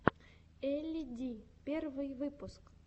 элли ди первый выпуск